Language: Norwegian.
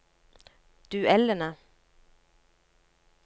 duellene